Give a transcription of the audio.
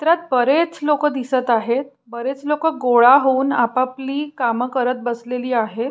चित्रात बरेच लोक दिसत आहेत बरेच लोक गोळा होऊन आपापली काम करत बसलेली आहेत.